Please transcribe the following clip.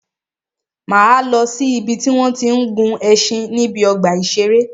Máa lọ si ìbi tí wọ́n tí ń gun ẹṣin níbi ọgbà ìṣẹ̀rẹ́.